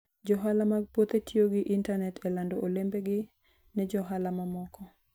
Johala mag puothe tiyo gi intanet e lando olembegi ne johala mamoko.